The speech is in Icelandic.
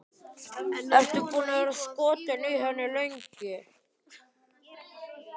Ertu búinn að vera skotinn í henni lengi?